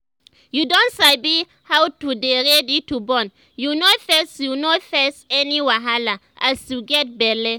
you don sabi how to dey ready to born you no face you no face any wahala as you get belle